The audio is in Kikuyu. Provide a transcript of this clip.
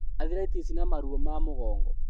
Athiraitĩci, na maruo ma mũgongo